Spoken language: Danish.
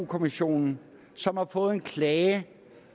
kommissionen som har fået en klage